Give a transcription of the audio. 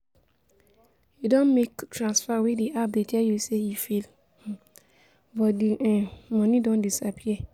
You don make transfer wey di app dey tell you you say e fail, um but di um money don disappear?